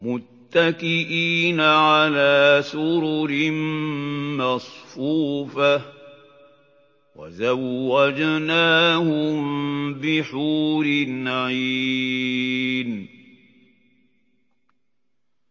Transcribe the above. مُتَّكِئِينَ عَلَىٰ سُرُرٍ مَّصْفُوفَةٍ ۖ وَزَوَّجْنَاهُم بِحُورٍ عِينٍ